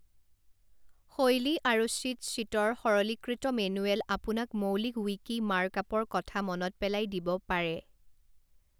শৈলী আৰু চিটশ্বীটৰ সৰলীকৃত মেনুৱেলে আপোনাক মৌলিক ৱিকি মাৰ্কআপৰ কথা মনত পেলাই দিব পাৰে।